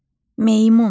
Meymun.